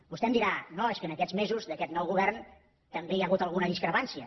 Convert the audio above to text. vostè em dirà no és que en aquests mesos d’aquest nou govern també hi ha hagut alguna discrepància